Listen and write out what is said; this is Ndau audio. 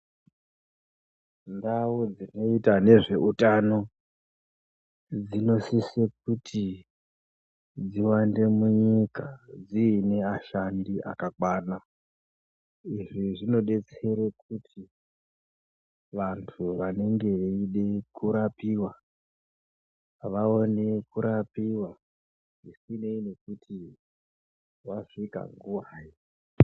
Ndau dzinoita nezveutano dzinosise kuti dziwande munyika dzive nevashandi akakwana. Izvi zvinobetsere kuti vantu vanenge veide kurapiva, vaone kurapiva zvisinei nekuti vasvika nguvai.